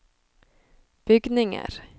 bygninger